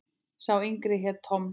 Sá yngri hét Tom.